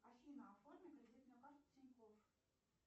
афина оформи кредитную карту тинькофф